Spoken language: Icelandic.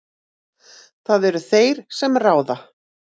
Það eru þeir sem ráða.